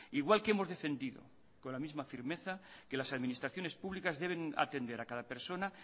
igual que hemos defendido con la misma firmeza que las administraciones públicas deben atender a cada persona